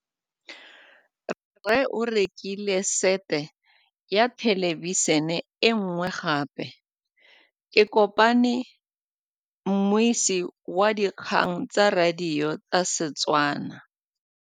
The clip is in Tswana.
Rre o rekile sete ya thêlêbišênê e nngwe gape. Ke kopane mmuisi w dikgang tsa radio tsa Setswana.